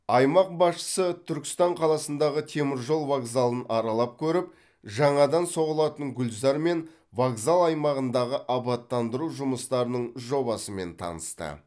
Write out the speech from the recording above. аймақ басшысы түркістан қаласындағы теміржол вокзалын аралап көріп жаңадан соғылатын гүлзар мен вокзал аймағындағы абаттандыру жұмыстарының жобасымен танысты